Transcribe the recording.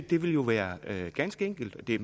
det ville jo være ganske enkelt og det